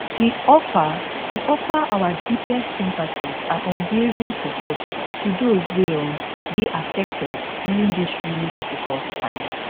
we offer we offer our deepest sympathies and unwavering support to those wey um dey affected during dis really difficult time